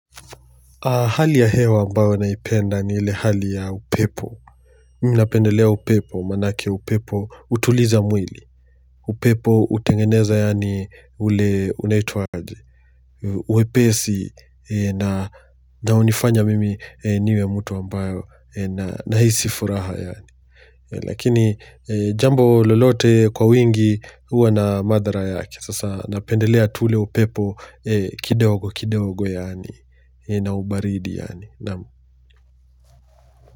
Hali ya hewa mbayo naipenda ni ile hali ya upepo. Mimi napendelea upepo, maana yake upepo, hutuliza mwili. Upepo utengeneza yani ule unaitwaje. Wepesi ina ndo hunifanya mimi niwe mtu ambayo nahisi furaha yani. Lakini jambo lolote kwa wingi huwa na madhara yake. Sasa napendelea tule upepo, kidogo kidigo yani. Ina hubaridi yani na.